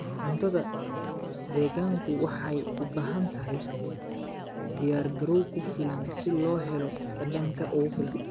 Cuntada deegaanku waxay u baahan tahay diyaargarow ku filan si loo helo dhadhanka ugu fiican.